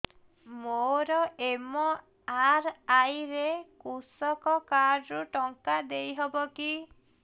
ମୋର ଏମ.ଆର.ଆଇ ରେ କୃଷକ କାର୍ଡ ରୁ ଟଙ୍କା ଦେଇ ହବ କି